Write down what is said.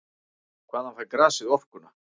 Hvaðan fær grasið orkuna?